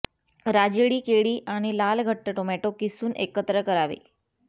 राजेळी केळी आणि लाल घट्ट टोमॅटो किसून एकत्र करावे